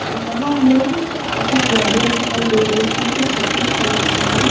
यहां हमे कुछ गाड़िया दिखाई दे रही है जो सफेद कलर से है।